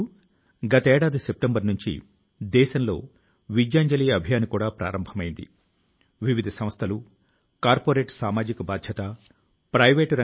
మన screen time పెరుగుతున్న తరుణం లో పుస్తక పఠనం మరింత ప్రాచుర్యాన్ని పొందేందుకు మనం కలసి కృషి చేయవలసి ఉంటుంది